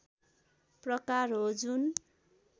प्रकार हो जुन